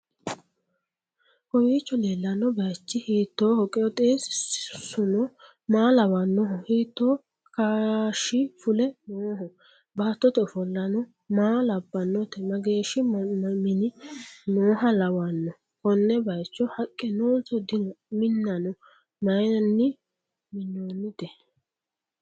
kowiicho leellanno bayichi hiittoho? qooxeessuno maa lawannoho? hiitto kaashshifule nooho? baattote ofollano maa labbannote? mageeshshi minna nooha lawannohe? konne bayicho haqqe noonso dino? minano mayiinni minoonite?